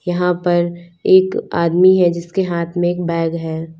यहां पर एक आदमी है जिसके हाथ में एक बैग है।